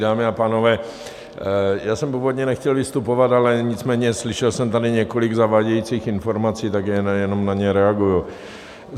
Dámy a pánové, já jsem původně nechtěl vystupovat, ale nicméně slyšel jsem tady několik zavádějících informací, tak jenom na ně reaguji.